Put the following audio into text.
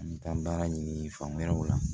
An bɛ taa baara ɲini fan wɛrɛw la